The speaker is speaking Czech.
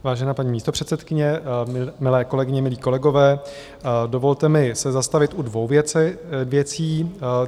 Vážená paní místopředsedkyně, milé kolegyně, milí kolegové, dovolte mi se zastavit u dvou věcí.